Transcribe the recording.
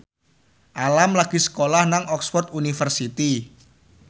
Alam lagi sekolah nang Oxford university